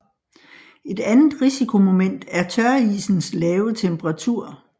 Et andet risikomoment er tørisens lave temperatur